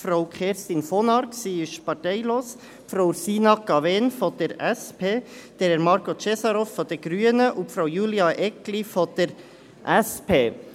Frau Kerstin von Arx – sie ist parteilos –, Frau Ursina Cavegn von der SP, Herr Marko Cesarov von den Grünen und Frau Julia Eggli von der SP.